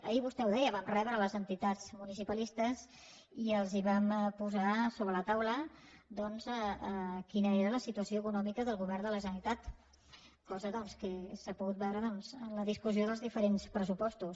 ahir vostè ho deia vam rebre les entitats municipalistes i els vam posar sobre la taula doncs quina era la situació econòmica del govern de la generalitat cosa que s’ha pogut veure en la discussió dels diferents pressupostos